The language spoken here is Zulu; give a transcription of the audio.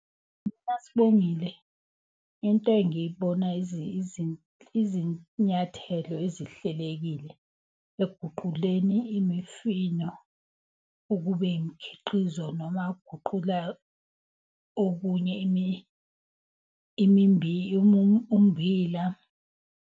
Sibongile, into engiyibona izinyathelo ezihlelekile ekuguquleni imifino. Ukube imikhiqizo noma ukuguqula okunye ummbila.